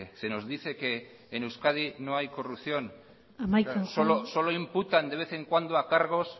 se nos dice que en euskadi no hay corrupción solo imputan de vez en cuando a cargos